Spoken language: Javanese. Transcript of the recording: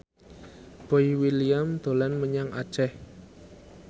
Boy William dolan menyang Aceh